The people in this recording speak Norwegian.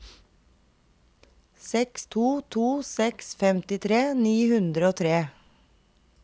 seks to to seks femtitre ni hundre og tre